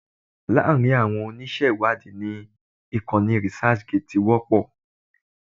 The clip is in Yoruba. Láàrin àwọn oníṣẹ́ ìwádìí ni ìkànnì researchgate ti wọ́pọ̀